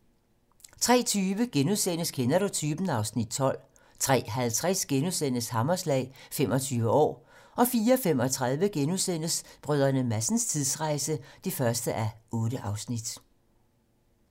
03:20: Kender du typen? (Afs. 12)* 03:50: Hammerslag - 25 år * 04:35: Brdr. Madsens tidsrejse (1:8)*